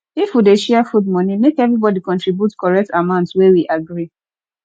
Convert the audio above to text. if we dey share food money make everybody contribute correct amount wey we agree